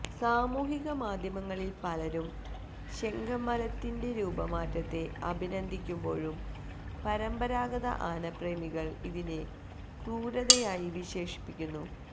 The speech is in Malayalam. സാമൂഹിക മാധ്യമങ്ങളിൽ പലരും ശെങ്കമലത്തിന്റെ രൂപമാറ്റത്തെ അഭിനന്ദിക്കുമ്പോഴും പരമ്പരാഗത ആനപ്രേമികൾ ഇതിനെ ക്രൂരതയായി വിശേഷിപ്പിക്കുന്നു